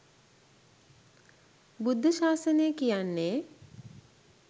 බුද්ධ ශාසනය කියන්නේ